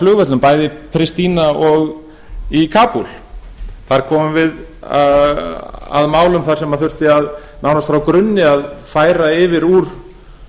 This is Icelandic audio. flugvöllum bæði í pristína og í kabúl þar komum við að málum þar sem þurfti nánast frá grunni að færa yfir úr